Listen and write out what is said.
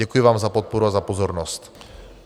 Děkuji vám za podporu a za pozornost.